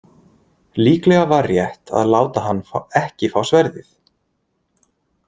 Líklega var rétt að láta hann ekki fá sverðið.